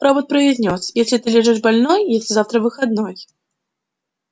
робот произнёс если ты лежишь больной если завтра выходной